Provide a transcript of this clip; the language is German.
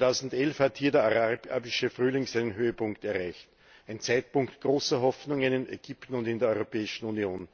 2011 hat hier der Arabische Frühling seinen Höhepunkt erreicht ein Zeitpunkt großer Hoffnungen in Ägypten und in der Europäischen Union.